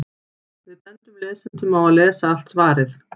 Við bendum lesendum á að lesa allt svarið.